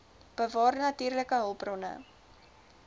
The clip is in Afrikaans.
bewaar natuurlike bronne